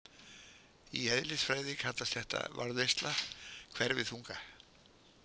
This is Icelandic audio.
Í eðlisfræði kallast þetta varðveisla hverfiþunga.